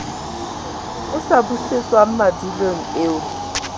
sa busetswang madulong eo ho